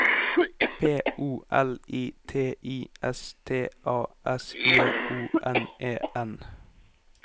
P O L I T I S T A S J O N E N